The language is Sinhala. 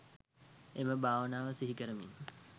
එම භාවනාව සිහි කරමින්